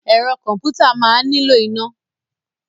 Ẹ̀rọ kọ̀m̀pútà máa nílò iná.